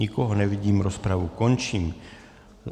Nikoho nevidím, rozpravu končím.